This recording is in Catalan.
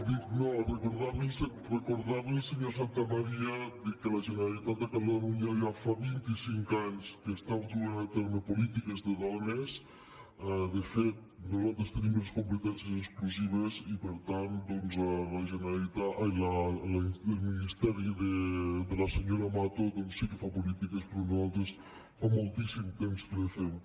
dic no recordar·li al senyor santamaría dic que la generalitat de catalunya ja fa vint·i·cinc anys que duu a terme polítiques de dones de fet nosaltres tenim les competències exclusives i per tant doncs el ministe·ri de la senyora mato doncs sí que fa polítiques però nosaltres fa moltíssim temps que les fem